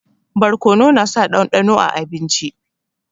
Barkonu na sa dandano a abinci